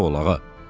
Sağ ol ağa.